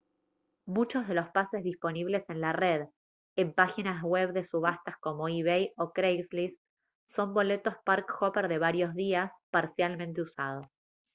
muchos de los pases disponibles en la red en páginas web de subastas como ebay o craigslist son boletos park hopper de varios días parcialmente usados